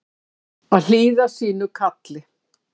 Að hlýða sínu kalli